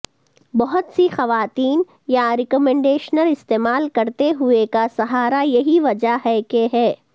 بہت سی خواتین یارکمڈیشنر استعمال کرتے ہوئے کا سہارا یہی وجہ ہے کہ ہے